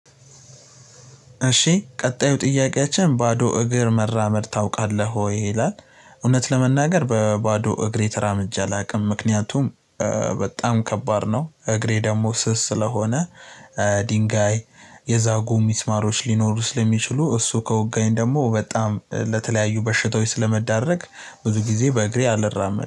እሺ ቀጣዩ ጥያቄያችን "ባዶ እግር መራመድ ታውቃለህ ወይ?" ይላል፣ እውነት ለመናገር በባዶ እግሬ ተራምጄ ላይ አላውቅም። ምክንያቱም በጣም ከባድ ነው እግሬ ደግሞ ስስ ስለሆነ ድንጋይ፣ የዛጉ ሚስማሮች፣ ሊኖሩ ስለሚችሉ እሱ ከወጋኝ ደግሞ በጣም ለተለያዩ በሽታዎች ስለምዳረግ ብዙ ጊዜ በእግሬ አልራመድም